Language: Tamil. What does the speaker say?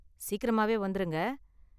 சீக்கிரமாவே வந்துருங்க.